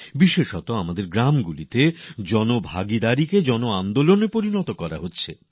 বিশেষকরে আমাদের গ্রামে একে জনঅংশীদারির মাধ্যমে আন্দোলনে পরিণত করা হচ্ছে